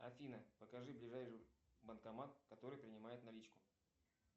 афина покажи ближайший банкомат который принимает наличку